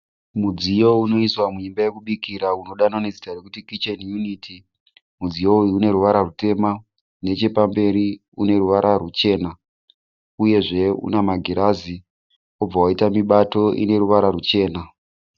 Mudziyo unoiswa muimba yokubikira unodaidzwa zita rokuti kicheni yuniti. Mudziyo uyu uneruvara rutema. Nechepamberi uneruvara ruchena uyezve une magirazi wobva waita mibato ine ruvara ruchena.